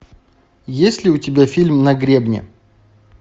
есть ли у тебя фильм на гребне